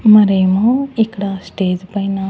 మరి ఏమో ఇక్కడ స్టేజ్ పైన.